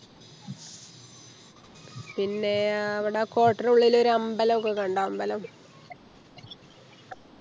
പിന്നെ അവിട കോട്ടന്റുള്ളിൽ ഒരമ്പലോക്കെ കണ്ടോ അമ്പലം